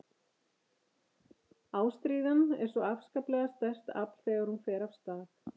Ástríðan er svo afskaplega sterkt afl þegar hún fer af stað.